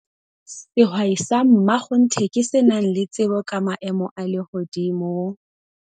Sehwai sa mmakgonthe ke se nang le tsebo ka maemo a lehodimo